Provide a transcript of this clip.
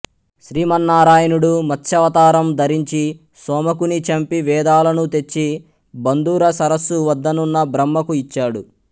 శ్రీమన్నారాయణుడు మత్స్యావతారం ధరించి సోమకుని చంపి వేదాలను తెచ్చి బంధుర సరస్సు వద్దనున్న బ్రహ్మకు ఇచ్చాడు